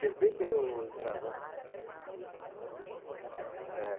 Serpente é o dragão. Ah, o dragão é serpente. Ah, é